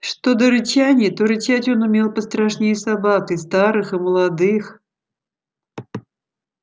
что до рычания то рычать он умел пострашнее собак и старых и молодых